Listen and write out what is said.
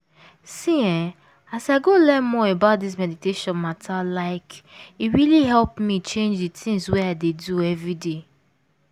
see eeh as i go learn more about this meditation matter like e really help me change di tins wey i dey do everday.